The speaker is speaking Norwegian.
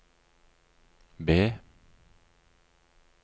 B